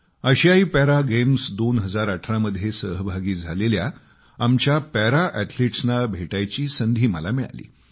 आशियाई para games 2018 मध्ये सहभागी झालेल्या आमच्या पॅरा अॅथलिट्सना भेटायची संधी मिळाली